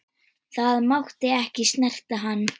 Það mátti ekki snerta hann.